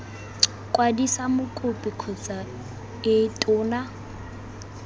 kwadisa mokopi kgotsa ii tona